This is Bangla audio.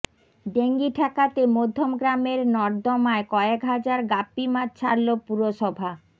ডেঙ্গি ঠেকাতে মধ্যমগ্রামের নর্দমায় কয়েক হাজার গাপ্পি মাছ ছাড়ল পুরসভা